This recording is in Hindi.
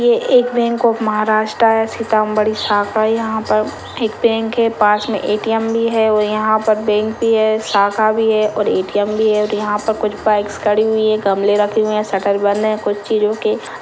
ये एक बैंक ऑफ महाराष्ट्र है सिताम्बडी शाखा है यहा पर एक बैंक है पास मे ए.टी.एम भी है और यहा पर एक बैंक भी है शाखा भी है और ए.टी.एम भी है और यहा पर कुछ बाइकस खड़ी हुई है गमले रखे हुए है शटर बंद है कुछ चिंजों के--